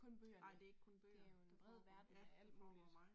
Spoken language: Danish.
Ej det ikke kun bøger. Der foregår ja der foregår meget